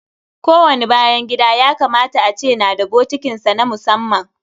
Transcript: Ko wani bayan gida ya kamata a ce na da bokitin sa na musamman.